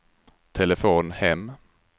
telefon hem